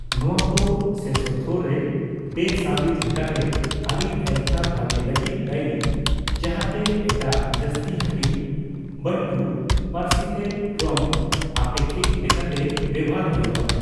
ᱱᱚᱣᱟ ᱠᱚ ᱥᱮᱥᱳᱛᱷᱳ ᱨᱮ ᱵᱮᱼᱥᱟᱵᱤᱠ ᱞᱮᱠᱟᱛᱮ ᱟᱹᱰᱤ ᱮᱞᱠᱷᱟ ᱵᱷᱟᱜᱮ ᱞᱟᱹᱜᱤᱫ ᱫᱟᱭᱤ, ᱡᱟᱸᱦᱟᱛᱮ ᱮᱴᱟᱜ ᱡᱟᱹᱥᱛᱤ ᱦᱟᱹᱴᱤᱧ ᱵᱟᱱᱴᱩ ᱯᱟᱹᱨᱥᱤᱛᱮ ᱨᱚᱝ ᱟᱯᱮᱠᱽᱠᱷᱤᱠ ᱞᱮᱠᱟᱛᱮ ᱵᱮᱣᱦᱟᱨ ᱦᱳᱭᱳᱜᱼᱟ ᱾